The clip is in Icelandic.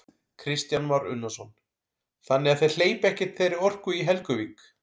Kristján Már Unnarsson: Þannig að þeir hleypa ekkert þeirri orku í Helguvík?